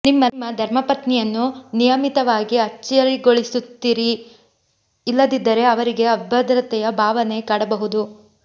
ನಿಮ್ಮ ಧರ್ಮಪತ್ನಿಯನ್ನು ನಿಯಮಿತವಾಗಿ ಅಚ್ಚರಿಗೊಳಿಸುತ್ತಿರಿ ಇಲ್ಲದಿದ್ದರೆ ಅವರಿಗೆ ಅಭಧ್ರತೆಯ ಭಾವನೆ ಕಾಡಬಹುದು